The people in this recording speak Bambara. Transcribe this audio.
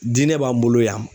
Diinɛ b'an bolo yan.